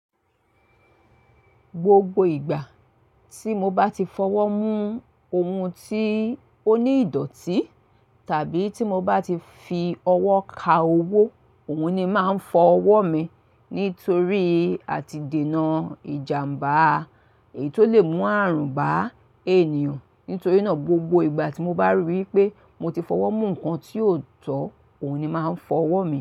Gbogbo ìgbà tí mo bá ti fọwọ́ mú ohun tí ó ní ìdọ̀tí tàbí tí mo bá ti fi ọwọ́ ka owó, òun ni máa ń fọ ọwọ́ mi. Nítorí àti dènà ìjàmbá èyí tó lè mú àrùn bá ènìyàn. Nítorí náà gbogbo ìgbà tí mo bá ríi wí pé mo ti fọwọ́ mú nǹkan tí ó tọ́, òun ni máa ń fọ ọwọ́ mi.